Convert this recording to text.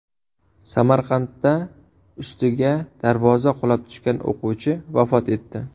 Samarqandda ustiga darvoza qulab tushgan o‘quvchi vafot etdi .